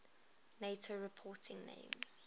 nato reporting names